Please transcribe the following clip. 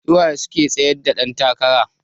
Suwa suke tsayar da dan takara?